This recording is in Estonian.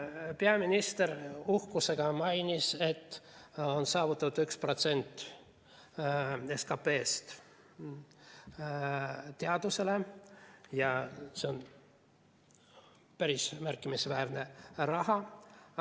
Peaminister uhkusega mainis, et on saavutatud 1% SKP‑st teadusele, ja see on päris märkimisväärne raha.